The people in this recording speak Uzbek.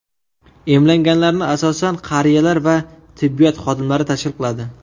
Emlanganlarni asosan qariyalar va tibbiyot xodimlari tashkil qiladi.